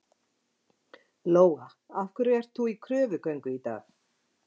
Lóa: Af hverju ert þú í kröfugöngu í dag?